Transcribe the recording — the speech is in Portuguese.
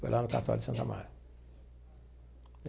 Foi lá no cartório de Santo Amaro.